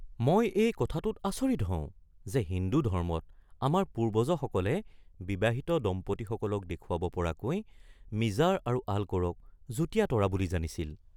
মই এই কথাটোত আচৰিত হওঁ যে হিন্দু ধৰ্মত আমাৰ পূৰ্বজসকলে বিবাহিত দম্পতীসকলক দেখুৱাব পৰাকৈ মিজাৰ আৰু আলক'ৰক যুৰীয়া তৰা বুলি জানিছিল।